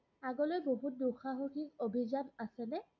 আগলৈ বহুত দুসাহসিক অভিযান আছেনে?